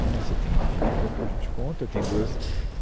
Né, Você tem gente a favor, gente contra. Tem duas